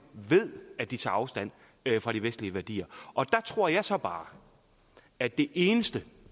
ved at de tager afstand fra de vestlige værdier og der tror jeg så bare at det eneste